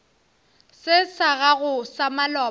se sa gago sa maloba